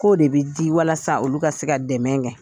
K'o de bɛ di walasa olu ka se ka dɛmɛ kɛ.